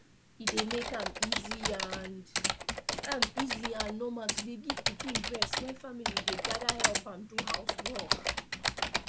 e dey make am easy and am easy and normal to dey give pikin breast when family dey gather help am do housework